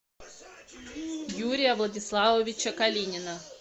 юрия владиславовича калинина